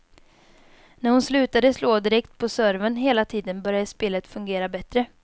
När hon slutade slå direkt på serven hela tiden började spelet fungera bättre.